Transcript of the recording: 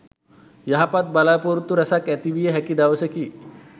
යහපත් බලා‍පොරොත්තු රැසක් ඇතිවිය හැකි දවසකි.